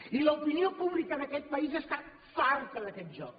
i l’opinió pública d’aquest país està farta d’aquest joc